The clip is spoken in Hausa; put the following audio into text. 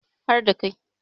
har da Kai